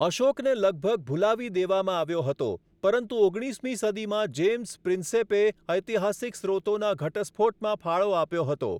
અશોકને લગભગ ભુલાવી દેવામાં આવ્યો હતો, પરંતુ ઓગણીસમી સદીમાં જેમ્સ પ્રિન્સેપે ઐતિહાસિક સ્રોતોના ઘટસ્ફોટમાં ફાળો આપ્યો હતો.